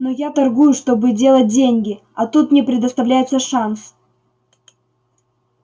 но я торгую чтобы делать деньги а тут мне предоставляется шанс